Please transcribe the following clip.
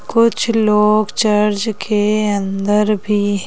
कुछ लोग चर्च के अंदर भी--